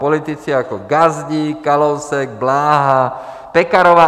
Politici jako Gazdík, Kalousek, Bláha, Pekarová